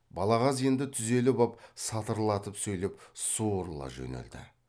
балағаз енді түзеліп ап сатырлатып сөйлеп сурыла жөнелді